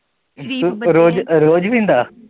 ਦੀਪ ਰੋਜ ਰੋਜ ਪੀਂਦਾ?